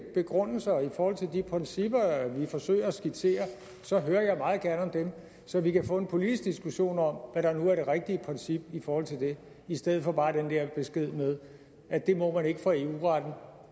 begrundelser i forhold til de principper vi forsøger at skitsere så hører jeg meget gerne om dem så vi kan få en politisk diskussion om hvad der nu er det rigtige princip i forhold til det i stedet for bare den der besked med at det må man ikke for eu retten